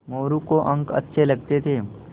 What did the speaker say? मोरू को अंक अच्छे लगते थे